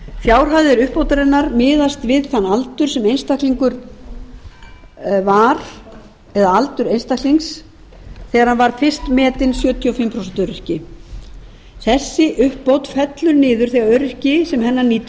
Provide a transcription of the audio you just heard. fjárhæð uppbótarinnar miðast við aldur einstaklings þegar hann var fyrst metinn sjötíu og fimm prósent öryrki þessi uppbót fellur niður þegar öryrki sem hennar nýtur